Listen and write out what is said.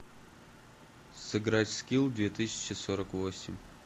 сыграть в скилл две тысячи сорок восемь